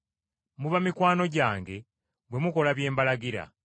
Muba mikwano gyange bwe mukola bye mbalagira.